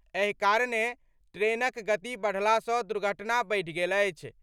एहि कारणँ ट्रेनक गति बढ़लासँ दुर्घटना बढ़ि गेल अछि।